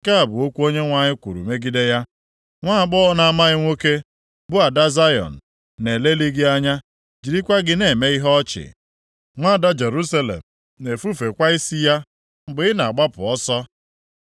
nke a bụ okwu Onyenwe anyị kwuru megide ya. “Nwaagbọghọ na-amaghị nwoke, bụ ada Zayọn, na-elelị gị anya, jirikwa gị na-eme ihe ọchị, Nwaada Jerusalem na-efufekwa isi ya mgbe ị na-agbapụ ọsọ.